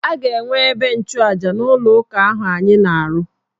A ga-enwe ebe nchụja n' ụlọụka ahụ anyị na-arụ.